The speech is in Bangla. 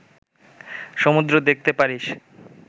সমুদ্র দেখতে পারিস